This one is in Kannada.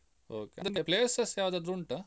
Okay ಅಂದ್ರೆ places ಯಾವ್ದಾದ್ರು ಉಂಟಾ?